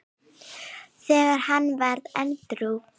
þegar hann varð edrú.